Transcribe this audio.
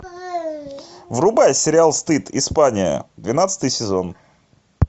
врубай сериал стыд испания двенадцатый сезон